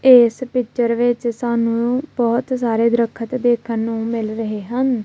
ਇਸ ਪਿਚਰ ਵਿੱਚ ਸਾਨੂੰ ਬਹੁਤ ਸਾਰੇ ਦਰੱਖਤ ਦੇਖਣ ਨੂੰ ਮਿਲ ਰਹੇ ਹਨ।